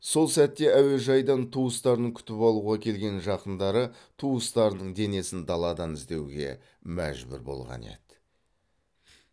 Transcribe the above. сол сәтте әуежайдан туыстарын күтіп алуға келген жақындары туыстарының денесін даладан іздеуге мәжбүр болған еді